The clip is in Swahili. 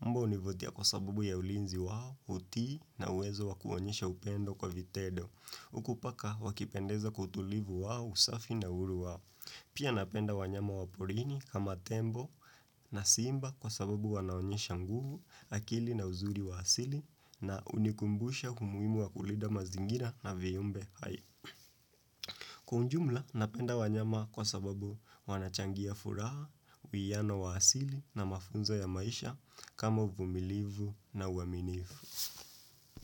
Mbwa hunivutia kwa sababu ya ulinzi wao uti na uwezo wakuonyesha upendo kwa vitendo. Huku paka wakipendeza kwa utulivu wao usafi na uhuru wao. Pia napenda wanyama wa porini kama tembo na simba kwa sababu wanaonyesha nguvu akili na uzuri wa asili na hunikumbusha umuhimu wa kulinda mazingira na viumbe hai. Kwa ujumla napenda wanyama kwa sababu wanachangia furaha, uwiano wa asili na mafunzo ya maisha kama uvumilivu na uaminifu.